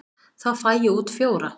Þá fæ ég út fjóra.